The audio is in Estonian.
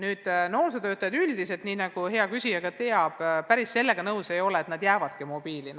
Üldiselt aga noorsootöötajad, nii nagu hea küsija ka ise teab, päris sellega nõus ei ole, et nad piirduvadki mobiilis suhtlemisega.